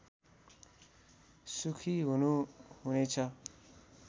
सुखी हुनु हुनेछ